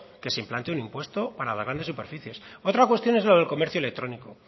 que se implante un impuesto para las grandes superficies otra cuestión es lo del comercio electrónico